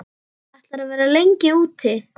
Ætlarðu að vera lengi úti?